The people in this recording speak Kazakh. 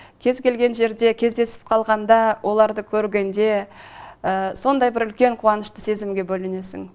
кез келген жерде кездесіп қалғанда оларды көргенде сондай бір үлкен қуанышты сезімге бөленесің